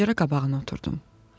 Pəncərə qabağına oturdum.